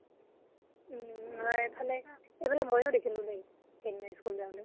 উম হয়। এইফালে সিদিনা মইয়ো দেখিলো দেই school যাওঁতে